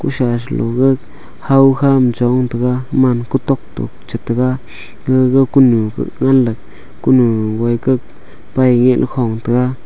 ousa saloga lawkha ma chong taiga man kutok to chetega gaga kunu nganley kunu woikak paiget khong taiga.